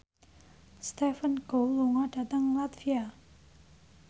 Stephen Chow lunga dhateng latvia